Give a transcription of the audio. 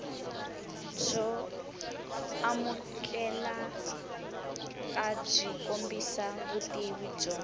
byo amukelekabyi kombisa vutivi byo